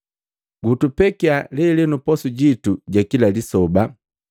Gutupekiya lelenu posu jitu ja kila lisoba,